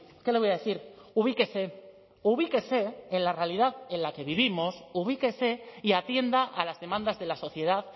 qué le voy a decir ubíquese ubíquese en la realidad en la que vivimos ubíquese y atienda a las demandas de la sociedad